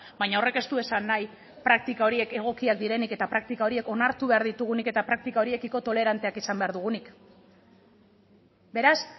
baina horrek ez du esan nahi praktika horiek egokiak direnik eta praktika horiek onartu behar ditugunik eta praktika horiekiko toleranteak izan behar dugunik beraz